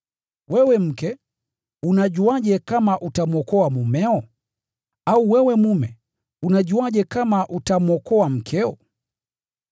Wewe mke, unajuaje kama utamwokoa mumeo? Au wewe mume unajuaje kama utamwokoa mkeo?